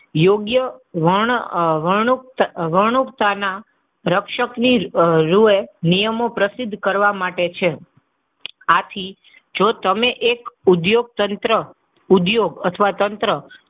યોગ્ય વર્ણ, આહ વર્ણનુંકત, વર્ણનુંકતાના રક્ષકની રૂએ નિયમો પ્રસિદ્ધ કરવા માટે છે. આથી જો તમે એક ઉદ્યોગ તંત્ર, ઉદ્યોગ અથવા તંત્ર,